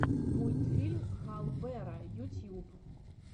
мультфильм хал бера ютьюб